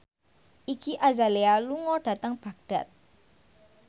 Iggy Azalea lunga dhateng Baghdad